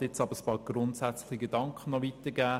Ich möchte ein paar grundsätzliche Gedanken weitergeben.